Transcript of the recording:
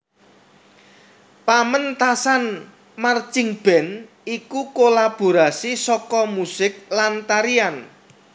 Pamentasan marchingband iku kolaborasi saka musik lan tarian